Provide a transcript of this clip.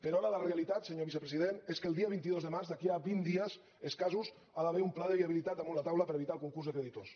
però ara la realitat senyor vicepresident és que el dia vint dos de març d’aquí a vint dies escassos hi ha d’haver un pla de viabilitat damunt la taula per evitar el concurs de creditors